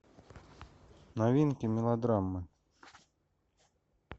новинки мелодрамы